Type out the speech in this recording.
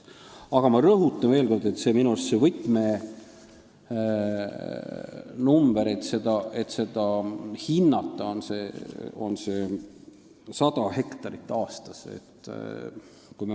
Aga ma rõhutan veel kord, et minu arust võtmenumber, et seda hinnata, on 100 hektarit aastas.